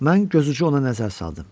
Mən gözucu ona nəzər saldım.